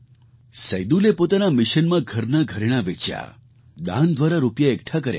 સૈદુલે પોતાના આ મિશનમાં ઘરનાં ઘરેણાં વેચ્યાં દાન દ્વારા રૂપિયા એકઠા કર્યા